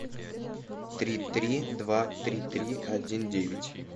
три три два три три один девять